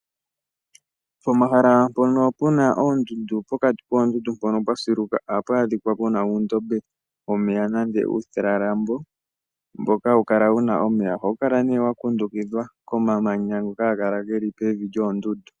Pomahala mpoka pu na oondundu, pokati koondundu mpono pwa siluka ohapu adhikwa puna uundombe womeya, nenge uutalalambo mboka hawu kala wuna omeya. Ohawu kala nee wa kundukidhwa komamanya ngoka haga kala ge li pevi lyoondundu.